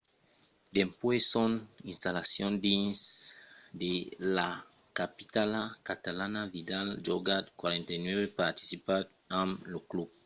dempuèi son installacion dins la capitala catalana vidal a jogat 49 partidas amb lo club